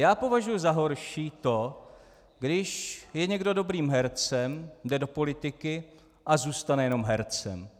Já považuji za horší to, když je někdo dobrým hercem, jde do politiky a zůstane jenom hercem.